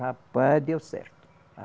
Rapaz, deu certo!